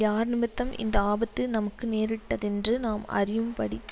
யார்நிமித்தம் இந்த ஆபத்து நமக்கு நேரிட்டதென்று நாம் அறியும்படிக்குச்